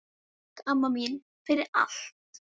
Takk, amma mín, fyrir allt.